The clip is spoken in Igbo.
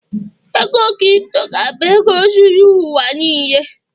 ego crypto ga-abụ ego zuru ụwa n'lee